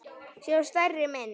sjá stærri mynd.